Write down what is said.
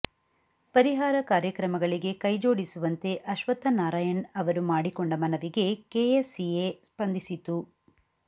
ಪರಿಹಾರ ಕಾರ್ಯಕ್ರಮಗಳಿಗೆ ಕೈಜೋಡಿಸುವಂತೆ ಅಶ್ವತ್ಥನಾರಾಯಣ್ ಅವರು ಮಾಡಿಕೊಂಡ ಮನವಿಗೆ ಕೆಎಸ್ಸಿಎ ಸ್ಪಂದಿಸಿತು